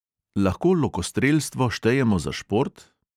Lahko lokostrelstvo štejemo za šport?